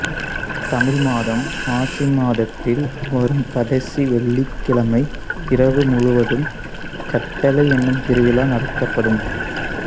தமிழ் மாதம் மாசி மாதத்தில் வரும் கடைசி வெள்ளிகிழமை இரவு முழுவதும் கட்டளை எனும் திருவிழா நடத்தப்படும்